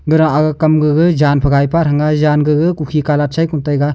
gara aga kam jang phai gai pa thang a jan gaga ku khi colour chai khon taiga.